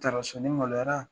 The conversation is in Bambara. maloyara.